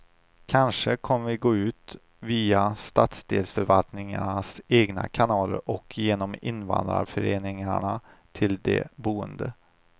Kanske kommer vi gå ut via stadsdelsförvaltningarnas egna kanaler och genom invandrarföreningarna till de boende.